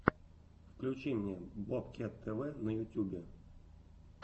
включи мне бобкет тв на ютюбе